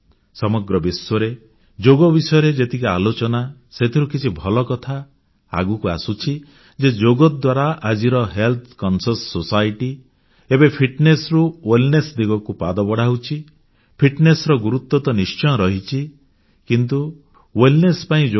ସମଗ୍ର ବିଶ୍ୱରେ ଯୋଗ ବିଷୟରେ ଯେମିତି ଆଲୋଚନା ସେଥିରୁ କିଛି ଭଲ କଥା ଆଗକୁ ଆସୁଛି ଯେ ଯୋଗ ଦ୍ୱାରା ଆଜିର ସ୍ୱାସ୍ଥ୍ୟ ସଚେତନଶୀଳ ସମାଜ ଏବେ ଫିଟନେସ୍ ରୁ ୱେଲନେସ୍ ଦିଗକୁ ପାଦ ବଢ଼ାଉଛି ଫିଟନେସ୍ ର ଗୁରୁତ୍ୱ ତ ନିଶ୍ଚୟ ରହିଛି କିନ୍ତୁ ୱେଲନେସ୍ ପାଇଁ ଯୋଗ ଉତ୍ତମ ମାର୍ଗ